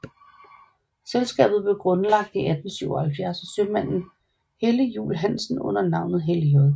Selskabet blev grundlagt i 1877 af sømanden Helly Juell Hansen under navnet Helly J